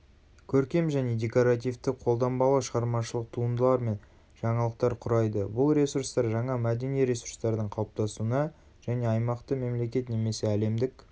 көркем және декоративті қолданбалы шығармашылық туындылар мен жаңалықтар құрайды бұл ресурстар жаңа мәдени ресурстардың қалыптасуына және аймақты мемлекет немесе әлемдік